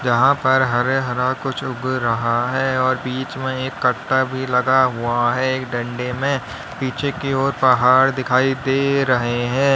जहां पर हरे हरा कुछ उग रहा है और बीच में एक कट्टा भी लगा हुआ है एक डंडे में पीछे की ओर पहाड़ दिखाई दे रहे हैं।